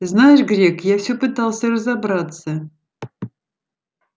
знаешь грег я всё пытался разобраться